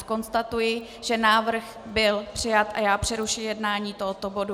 Konstatuji, že návrh byl přijat a já přerušuji jednání tohoto bodu.